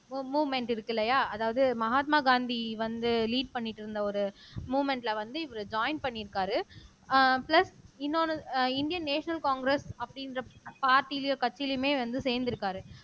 move movement இருக்கு இல்லையா அதாவது மகாத்மா காந்தி வந்து லீட் பண்ணிட்டு இருந்த ஒரு மூவ்மென்ட்ல வந்து இவரு ஜாயின் பண்ணியிருக்காரு அஹ் பிளஸ் இன்னொன்னு அஹ் இந்தியன் நேஷனல் காங்கிரஸ் அப்படின்ற பார்ட்டிலியோ கட்சியிலயுமே வந்து சேர்ந்திருக்காரு